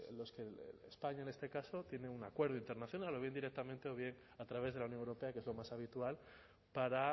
los que españa en este caso tienen un acuerdo internacional o bien directamente o bien a través de la unión europea que es lo más habitual para